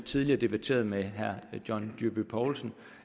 tidligere diskuteret med herre john dyrby paulsen